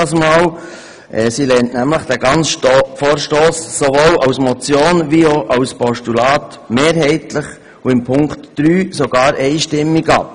Sie lehnt nämlich den ganzen Vorstoss sowohl als Motion wie auch als Postulat mehrheitlich, und im Fall des Punkts 3 sogar einstimmig, ab.